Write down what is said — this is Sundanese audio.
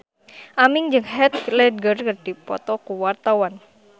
Aming jeung Heath Ledger keur dipoto ku wartawan